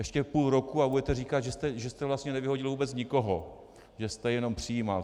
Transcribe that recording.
Ještě půl roku a budete říkat, že jste vlastně nevyhodil vůbec nikoho, že jste jenom přijímal.